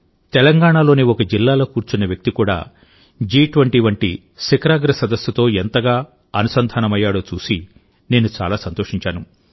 తెలంగాణలోని ఒక జిల్లాలో కూర్చున్న వ్యక్తి కూడా జి20 వంటి శిఖరాగ్ర సదస్సుతో ఎంతగా అనుసంధానమయ్యాడో చూసి నేను చాలా సంతోషించాను